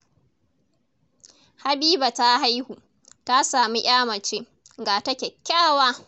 Habiba ta haihu, ta samu 'ya mace, ga ta kyakkyawa